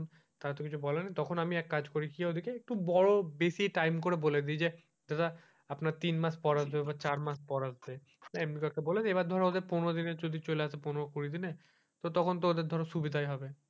তখন তো কিছু বলার নেই তখন আমি এক কাজ করি কি ওদিকের একটু বড়ো বেশি time করে বলেদি যে দাদা আপনার তিন মাস পর আসবে বা চার মাস পর আসবে এমনি করে বলে দি পনেরো দিনে যদি চলে আসে, পনেরো কুড়ি দিনে তখন তো ওদের ধরো সুবিধাই হবে.